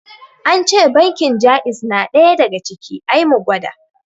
Ance bankin jaiz na ɗaya daga ciki, I mu gwada